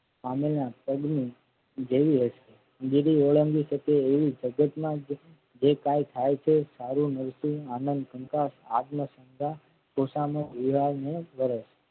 પામેલના પગ ને જેવી હશે જેથી ઓળંગી શકે તેવી સજેસ માન જે કઈ થાય છે છે સારું નરસું આનંદ શંકા આત્મશ્રદ્ધા